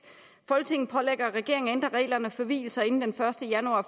folketinget pålægger regeringen at ændre reglerne for vielser inden den første januar